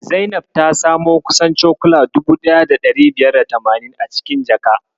Zainab ta samo kusan cokula 1580 a cikin jaka.